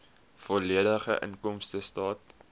volledige inkomstestaat